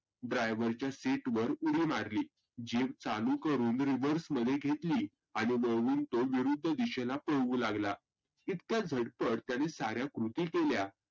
Driver च्या seat वर उडी मारली Jeep चालू करूण reverse मध्ये घेतली. आणि वळवून तो विरुध्द दिशेला पळवू लागला. इतक्या झटपट त्याने सार्या कृती केल्या